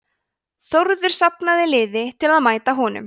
þórður safnaði liði til að mæta honum